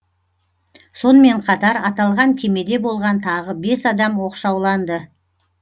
сонымен қатар аталған кемеде болған тағы бес адам оқшауланды